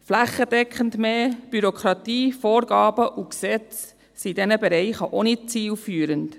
Flächendeckend mehr Bürokratie, Vorgaben und Gesetze sind in diesen Bereichen auch nicht zielführend.